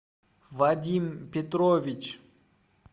вадим петрович